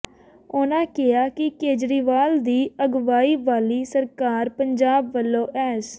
ਉਨ੍ਹਾਂ ਕਿਹਾ ਕਿ ਕੇਜਰੀਵਾਲ ਦੀ ਅਗਵਾਈ ਵਾਲੀ ਸਰਕਾਰ ਪੰਜਾਬ ਵੱਲੋਂ ਐੱਸ